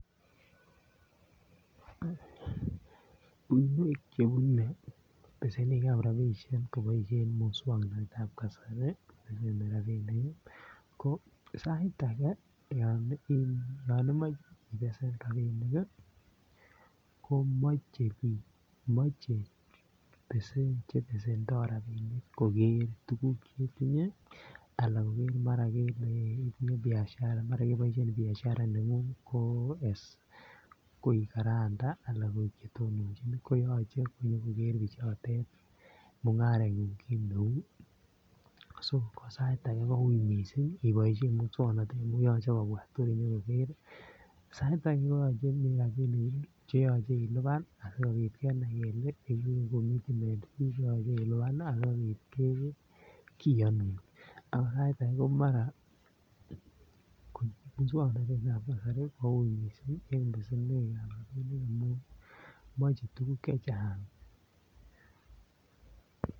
Uinwek chebune besenik ab rabisiek koboisien moswoknatet ab kasari ne iyumi rabinik ko sait age yon imoche ibesen rabinik ko moche bik Che besendo rabinik koger tuguk chetinye anan mara keboisien Biashara ne ngung ko guarantor anan koik Che tononjin koyoche nyo koger bichoto mungarengung kit neu so ko sait age koui mising iboisien moswoknatet ko yoche kobwa tor konyo koger sait ake koyoche komi rabinik Che yoche ilipan asikobit kenai kele inye komi registration fee cheyoche ilipan anan kiyonun ako sait age ko maran ko moswoknatet ab kasari koui mising en besenwogik ab rabinik amun moche tuguk Che Chang